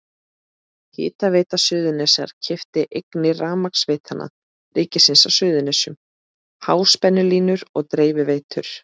Hitaveita Suðurnesja keypti eignir Rafmagnsveitna ríkisins á Suðurnesjum, háspennulínur og dreifiveitur.